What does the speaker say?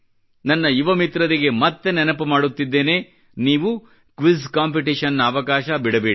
ನನ್ನ ಯುವ ಮಿತ್ರರಿಗೆ ಮತ್ತೆ ನೆನಪು ಮಾಡುತ್ತಿದ್ದೇನೆ ನೀವು ಕ್ವಿಜ್ ಕಾಂಪಿಟಿಷನ್ ನ ಅವಕಾಶ ಬಿಡಬೇಡಿ